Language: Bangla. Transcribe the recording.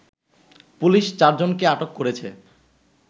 পুলিশ চারজনকে আটক করেছে